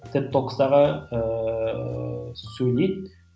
теп токстағы ыыы сөйлейді